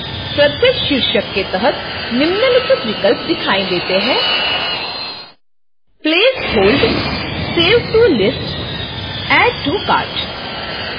प्रत्येक शीर्षक के तहत निम्नलिखित विकल्प दिखाई देते हैंplace hold save to lists add to cart